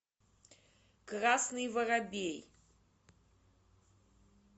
красный воробей